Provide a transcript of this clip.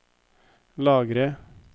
lagre